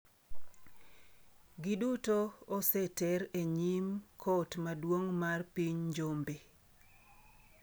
Giduto oseter e nyim kot maduong’ mar piny Njombe.